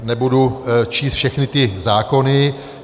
Nebudu číst všechny ty zákony.